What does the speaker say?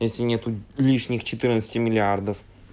если нету лишних четырнадцати миллиардов